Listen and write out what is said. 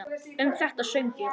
Um þetta söng ég